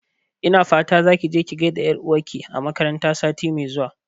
Ina fata zaki je ki gaida ƴar'uwar ki a makaranta sati mai zuwa